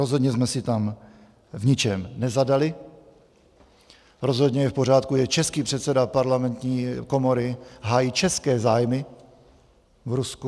Rozhodně jsme si tam v ničem nezadali, rozhodně je v pořádku, že český předseda parlamentní komory hájí české zájmy v Rusku.